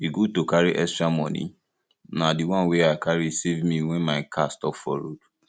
e good to carry extra money na the one wey i carry save me wen my car stop for road